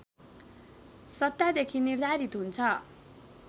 सत्तादेखि निर्धारित हुन्छ